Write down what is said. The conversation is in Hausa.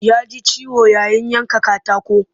Ya ji ciwo yayin yanka katako